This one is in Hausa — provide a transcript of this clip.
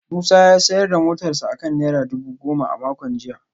Musa ya sayar da motarsa ​​akan naira dubu goma a makon jiya